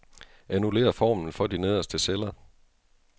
Annullér formlen for de nederste celler.